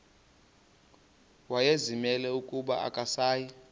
wayezimisele ukuba akasayi